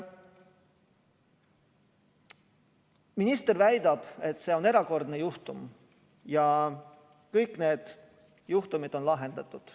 Minister väidab, et see on erandjuhtum ja kõik need juhtumid on lahendatud.